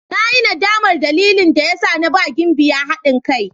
Na yi nadamar dalilin da ya sa na ba Gimbiya hadin kai.